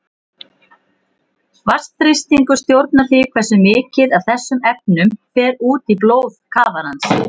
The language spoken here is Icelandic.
Vatnsþrýstingur stjórnar því hversu mikið af þessum efnum fer út í blóð kafarans.